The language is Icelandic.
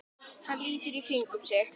Hann lítur í kringum sig.